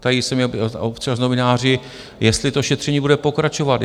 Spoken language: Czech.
Ptají se mě občas novináři, jestli to šetření bude pokračovat.